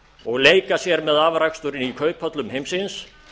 og leika sér með afraksturinn í kauphöllum heimsins